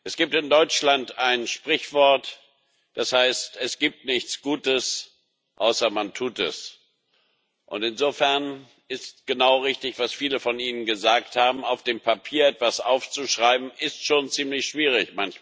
Es gibt in Deutschland ein Sprichwort, das heißt Es gibt nichts Gutes, außer man tut es. Insofern ist genau richtig, was viele von Ihnen gesagt haben Auf dem Papier etwas aufzuschreiben, ist in Albanien schon manchmal ziemlich schwierig.